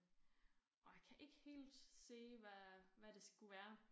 Og jeg kan ikke helt se hvad hvad det skulle være